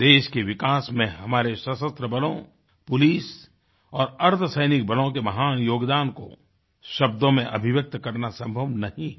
देश के विकास में हमारे सशस्त्र बलों पुलिस और अर्द्धसैनिक बलों के महान योगदान को शब्दों में अभिव्यक्त करना संभव नहीं है